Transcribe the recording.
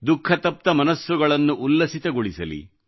ದುಖಃತಪ್ತ ಮನಸ್ಸುಗಳನ್ನು ಉಲ್ಲಸಿತಗೊಳಿಸಲಿ